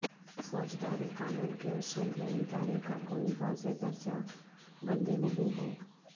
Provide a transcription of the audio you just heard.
فوجداری قانون کے اصول میں ادارے کا کوئی واضح درجہ بندی نہیں ہے